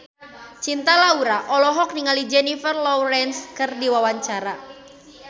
Cinta Laura olohok ningali Jennifer Lawrence keur diwawancara